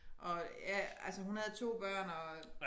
Og ja altså hun havde 2 børn og